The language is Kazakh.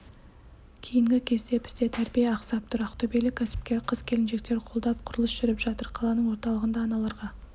кейінгі кезде бізде тәрбие ақсап тұр ақтөбелік кәсіпкер қыз-келіншектер қолдап құрылыс жүріп жатыр қаланың орталығында аналарға